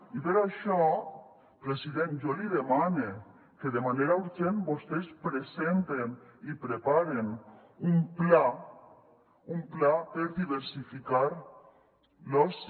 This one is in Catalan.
i per això president jo li demane que de manera urgent vostès presenten i preparen un pla un pla per diversificar l’oci